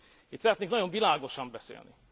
Én szeretnék nagyon világosan beszélni.